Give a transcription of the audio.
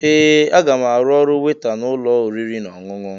Ee! Aga m arụ ọrụ weta n'ụlọ oriri na ọṅụṅụ.